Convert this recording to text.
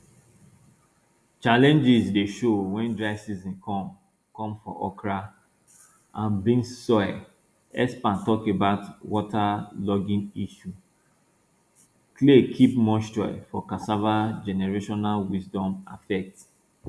challenges de show wen dry season come come for okra and beans soil experts talk about waterlogging ishu clay keep moisture for cassava generational wisdom affect